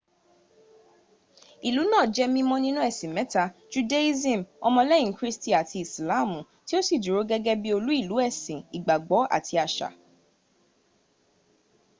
ilú náa jẹ́ mímọ́ nínú ẹ̀sìn mẹ́ta- judaism, ọmọlẹ́yìn kírísítì àti ìsìláàmù tí ó sì dúró gẹ́gẹ́ bí olú ìlú ẹ̀sìn ìgbàgbọ́ àti àṣà